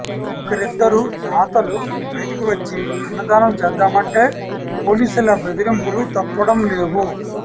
ఒక్కరిద్దరు దాతలు బయటికి వచ్చి అన్నదానం చేద్దామంటే పోలీసుల బెదిరింపులు తప్పడం లేవు